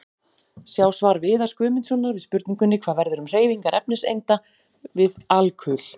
Sjá svar Viðars Guðmundssonar við spurningunni: Hvað verður um hreyfingar efniseinda við alkul?